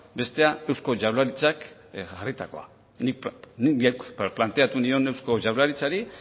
bestea eusko jaurlaritzak jarritakoa ni neuk planteatu nion eusko jaurlaritzari